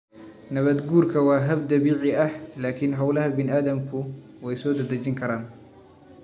Nabaadguurku waa hab dabiici ah, laakiin hawlaha bani'aadamku way soo dedejin karaan.